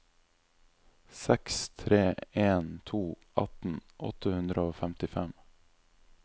seks tre en to atten åtte hundre og femtifem